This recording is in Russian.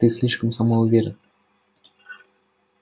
ты слишком самоуверен